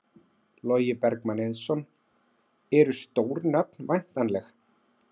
Logi Bergmann Eiðsson: Eru stór nöfn væntanleg?